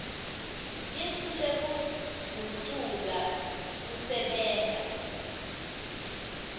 lisu lekugucula kusebenta